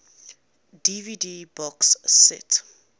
dvd box set